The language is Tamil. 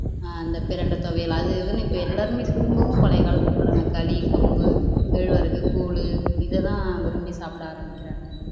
ஆஹ் இந்த பிரண்டை துவையல் அது இதுன்னு இப்ப எல்லாருமே திரும்பவும் பழைய காலத்துக்கு வர்றாங்க களி கம்பு கேழ்வரகு கூழ் இதைதான் விரும்பி சாப்பிட ஆரம்பிக்கிறாங்க